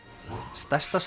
stærsta